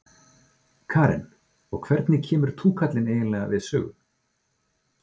Karen: Og hvernig kemur túkallinn eiginlega við sögu?